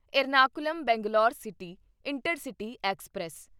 Ernakulam Bangalore city intercity express